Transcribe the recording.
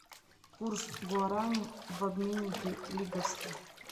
курс гуарани в обменнике лиговский